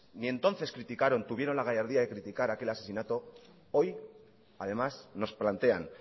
ni entonces criticaron tuvieron la gallardía de criticar aquel asesinato hoy además nos plantean